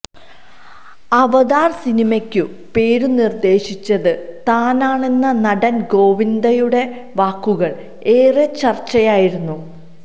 അവതാർ സിനിമയ്ക്കു പേരു നിർദേശിച്ചതു താനാണെന്ന നടന് ഗോവിന്ദയുടെ വാക്കുകൾ ഏറെ ചർച്ചയായിരുന്നു